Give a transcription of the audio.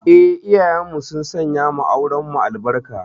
Eh, iyayenmu sun sanyawa aurenmu albarka.